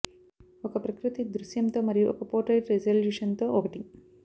ఒక ప్రకృతి దృశ్యంతో మరియు ఒక పోర్ట్రెయిట్ రిజల్యూషన్ తో ఒకటి